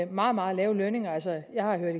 meget meget lave lønninger altså jeg har hørt